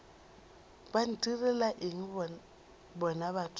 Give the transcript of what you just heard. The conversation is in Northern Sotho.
ba ntirela eng bona batho